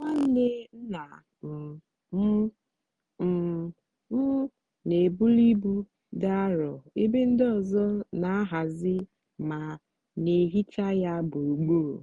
nwanne nna um m um m n'ebuli ibu dị arọ ebe ndị ọzọ n'ahazi ma n'ehicha ya gburugburu.